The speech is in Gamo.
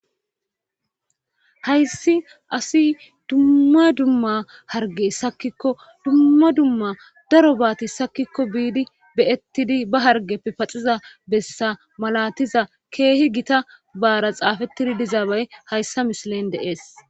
hayssi asi dumma dumma harge sakikko dumma dumma darobaati sakikko biidi beyettidi ba hargeppe paxiza bessa malatiza keehi gita baara xaafettidi dizaabay hayssa mishilen de'ees